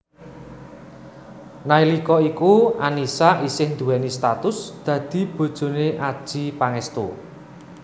Nalika iku Annisa isih duwéni status dadi bojone Adjie Pangestu